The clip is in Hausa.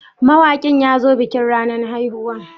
Mawakin ya zo bikin ranan haihuwan?